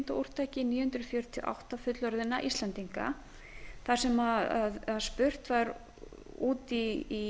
líkindaúrtaki níu hundruð fjörutíu og átta fullorðinna íslendinga þar sem spurt var út í